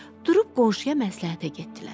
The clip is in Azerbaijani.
Durub qonşuya məsləhətə getdilər.